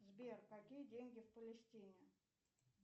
сбер какие деньги в палестине